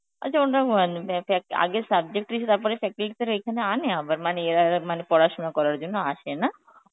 আচ্ছা আগে subject এসে তারপরে faculty দের এখানে আনে আবার মানে এরা এরা মানে পড়াশোনা করার জন্য আসে, না?